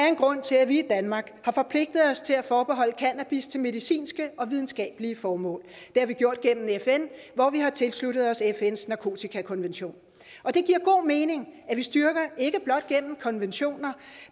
en grund til at vi i danmark har forpligtet os til at forbeholde cannabis til medicinske og videnskabelige formål det har vi gjort gennem fn hvor vi har tilsluttet os fns narkotikakonvention og det giver god mening at vi styrker ikke blot gennem konventioner